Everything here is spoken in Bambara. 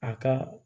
A ka